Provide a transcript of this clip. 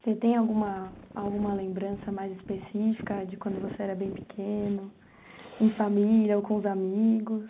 Você tem alguma alguma lembrança mais específica de quando você era bem pequeno, em família ou com os amigos?